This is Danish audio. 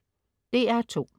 DR2: